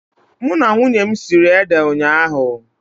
Mụ na nwunye m siri ede ụnyaahụ.